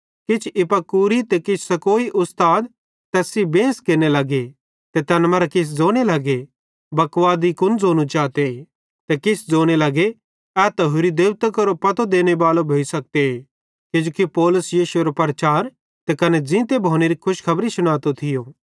किछ इपिकूरी ते किछ स्तोईकी उस्ताद तैस सेइं बेंस केरने लगे ते तैन मरां किछ ज़ोने लगे बकवादी कुन ज़ोनू चाते ते किछ ज़ोने लगे ए त होरि देबतां केरो पतो देनेबालो भोइ सखते किजोकि पौलुस यीशुएरो ते कने ज़ींते भोनेरी खुशखबरी शुनातो थियो